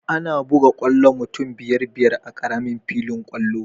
Ana buga kwallo mutum biyar-biyar a ƙaramin filin kwallo.